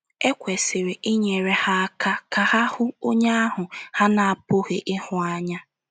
E kwesịrị ịnyere ha aka ka ha ‘ hụ Onye ahụ a na - apụghị ịhụ anya. ’